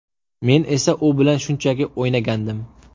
Men esa u bilan shunchaki o‘ynagandim.